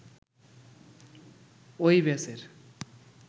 ওই ব্যাচের